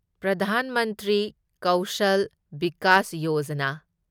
Pradhan Mantri Kaushal Vikas Yojana